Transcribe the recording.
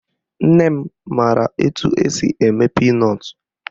Nne m mara etu esi eme pinọtụ